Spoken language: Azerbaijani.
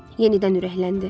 Yenidən ürəkləndi.